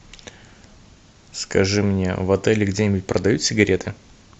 скажи мне в отеле где нибудь продают сигареты